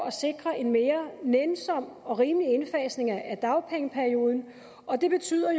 at sikre en mere nænsom og rimelig indfasning af dagpengeperioden og det betyder